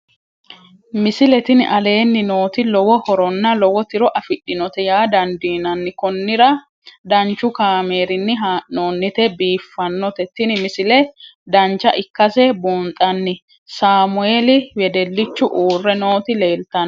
misile tini aleenni nooti lowo horonna lowo tiro afidhinote yaa dandiinanni konnira danchu kaameerinni haa'noonnite biiffannote tini misile dancha ikkase buunxanni saamueli wedellichu uurre nooti leeltanoe